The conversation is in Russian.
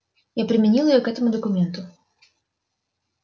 я применил её к этому документу